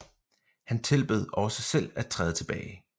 Han tilbød også selv at træde tilbage